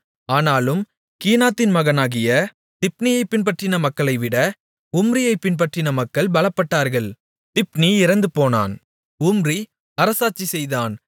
ஆனாலும் கீனாத்தின் மகனாகிய திப்னியைப் பின்பற்றின மக்களைவிட உம்ரியைப் பின்பற்றின மக்கள் பலப்பட்டார்கள் திப்னி இறந்துபோனான் உம்ரி அரசாட்சி செய்தான்